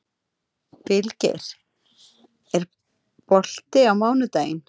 Vilgeir, er bolti á miðvikudaginn?